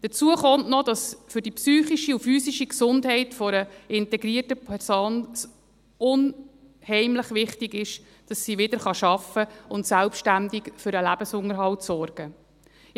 Hinzu kommt, dass es für die psychische und physische Gesundheit einer integrierten Person unheimlich wichtig ist, dass sie wieder arbeiten und selbstständig für den Lebensunterhalt sorgen kann.